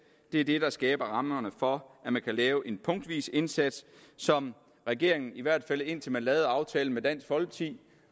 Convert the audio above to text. det er det der skaber rammerne for at man kan lave en punktvis indsats som regeringen i hvert fald indtil den lavede aftalen med dansk folkeparti